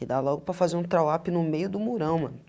E dá logo para fazer um trawap no meio do murão, mano.